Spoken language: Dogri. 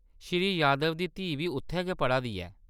श्री यादव दी धीऽ बी उत्थै गै पढ़ा दी ऐ।